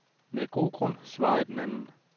Med god grund, svarede den anden.